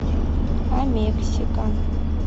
амексика